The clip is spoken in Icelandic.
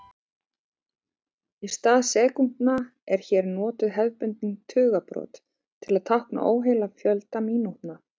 Í stað sekúndna eru hér notuð hefðbundin tugabrot til að tákna óheilan fjölda mínútna.